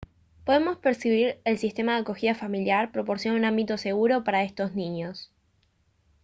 podemos percibir que el sistema de acogida familiar proporciona un ámbito seguro para estos niños